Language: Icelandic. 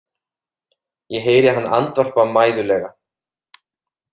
Ég heyri hann andvarpa mæðulega.